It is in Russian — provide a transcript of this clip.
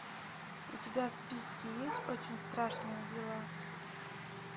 у тебя в списке есть очень страшные дела